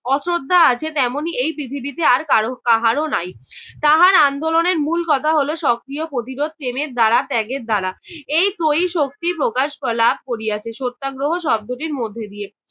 অশ্রদ্ধা আছে তেমনি এই পৃথিবীতে আর কারো কাহারো নাই। তাহার আন্দোলনের মূল কথা হ'ল সক্রিয় প্রতিরোধ প্রেমের দ্বারা ত্যাগের দ্বারা এই ত্রয়ী শক্তিই প্রকাশ লাভ করিয়াছে সত্যাগ্রহ শব্দটির মধ্যে দিয়ে